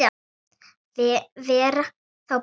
Vera þá bara heima?